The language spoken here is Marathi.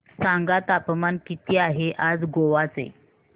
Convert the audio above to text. सांगा तापमान किती आहे आज गोवा चे